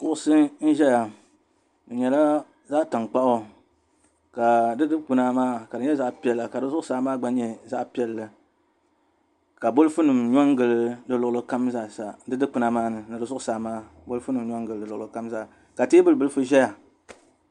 Kuɣusi n ʒɛya di nyɛla zaɣa tankpaɣu ka di dikpuna maa ka nyɛ zaɣa piɛla ka di zuɣusaa gba nyɛ zaɣa piɛlli ka bɔlifu nim nyɔ n gili di luɣuli kam zaa sa di dikpuna maa ni ni di zuɣusaa maa bɔlifu nim nyɔ n gili luɣuli kam zaa ka teebuli bilifu ʒɛya.